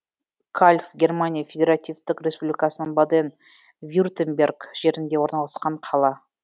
кальв германия федеративтік республикасының баден вюртемберг жерінде орналасқан қала